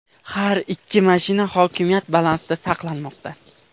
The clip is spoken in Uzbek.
Har ikki mashina hokimiyat balansida saqlanmoqda.